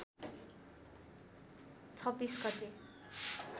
२६ गते